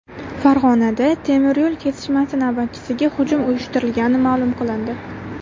Farg‘onada temiryo‘l kesishmasi navbatchisiga hujum uyushtirilgani ma’lum qilindi.